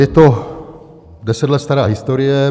Je to deset let stará historie.